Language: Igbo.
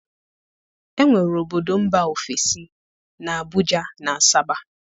enwere obodo mba ofesi na Abuja na Asaba.